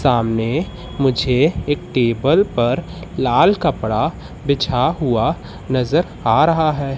सामने मुझे एक टेबल पर लाल कपड़ा बिछा हुआ नजर आ रहा है।